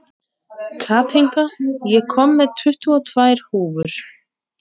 Kathinka, ég kom með tuttugu og tvær húfur!